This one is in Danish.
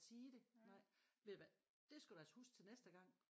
Sige det nej ved du hvad det skal du altså huske til næste gang